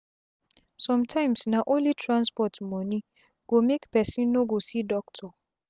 sum tyms na onli transport moni go make pesin no go see doctor